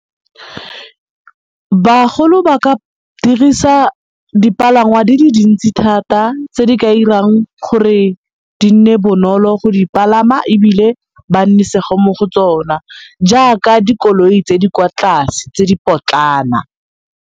Bagolo ba ka dirisa dipalangwa di le dintsi thata tse di ka irang gore di nne bonolo go di palama ebile ba nnisege mo go tsona jaaka dikoloi tse di kwa tlase tse di potlana.